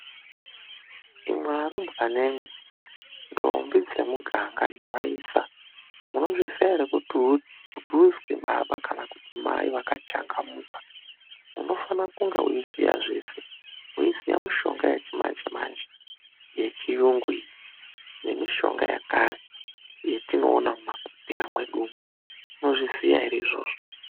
Imwi arumbwanemwi, ndombi dzemuganga nevaisa, munozviziya ere kuti uzwi baba kana kuti mai vakachangamuka unofanira kunga weiziya zveshe, weiziya mishonga yechimanje manje, yechiyungu iyi nemishonga yakare yetinoona mumahotera mwedu umwu Munozviziya ere izvozvo.